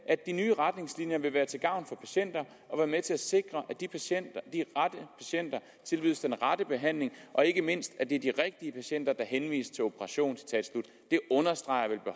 at de nye retningslinjer vil være til gavn for patienterne og være med til at sikre at de rette patienter tilbydes den rette behandling og ikke mindst at det er de rigtige patienter der henvises til operation det understreger